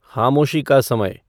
ख़ामोशी का समय